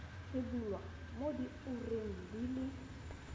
rebolwa mo diureng di le